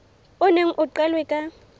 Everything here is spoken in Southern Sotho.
o neng o qalwe ka